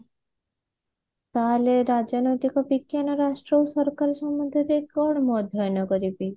ତାହେଲେ ରାଜନୈତିକ ବିଜ୍ଞାନ ରାଷ୍ଟ୍ର ସରକାର ସମ୍ବନ୍ଧରେ କଣ ମୁଁ ଅଧ୍ୟୟନ କରିବି